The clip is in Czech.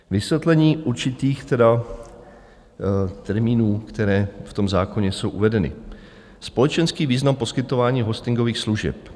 Vysvětlení určitých termínů, které v tom zákoně jsou uvedeny: Společenský význam poskytování hostingových služeb.